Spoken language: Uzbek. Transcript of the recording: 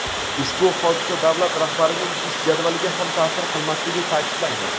Ushbu hodisa davlat rahbarining ish jadvaliga ham ta’sir qilmasligi ta’kidlangan.